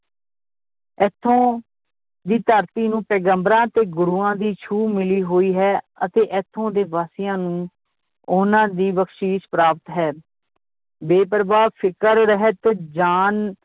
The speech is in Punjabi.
ਇਥੋਂ ਦੀ ਧਰਤੀ ਨੂੰ ਪੈਗੰਬਰਾਂ ਤੇ ਗੁਰੂਆਂ ਦੀ ਛੂਹ ਮਿਲੀ ਹੋਈ ਹੈ ਅਤੇ ਇਥੋਂ ਦੇ ਵਾਸੀਆਂ ਨੂੰ ਉਹਨਾਂ ਦੀ ਬਖਸ਼ੀਸ਼ ਪ੍ਰਾਪਤ ਹੈ ਬੇਪਰਵਾਹ ਫਿਕਰ-ਰਹਿਤ ਜਾਨ